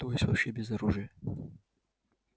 то есть вообще без оружия